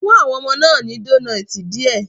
Fún àwọn ọmọ náà ní donoiti díẹ̀